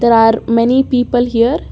there are many people here.